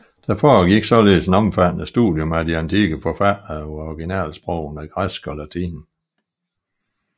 Der foregik således et omfattende studium af de antikke forfattere på originalsprogene græsk og latin